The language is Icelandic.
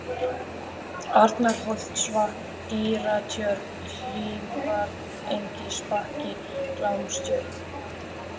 Arnarholtsvatn, Dýratjörn, Hlífarengisbakki, Glámstjörn